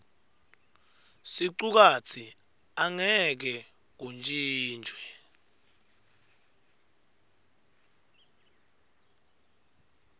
sicukatsi angeke kuntjintjwe